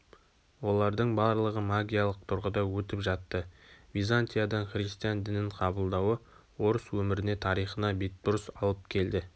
олардың барлығы магиялық тұрғыда өтіп жатты византиядан христиан дінін қабылдауы орыс өміріне тарихына бетбұрыс алып келді